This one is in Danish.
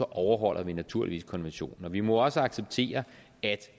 overholder vi naturligvis konventionen vi må også acceptere at